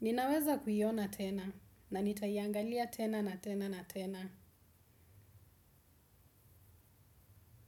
Ninaweza kuiona tena na nitaiangalia tena na tena na tena.